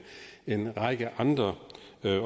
en række andre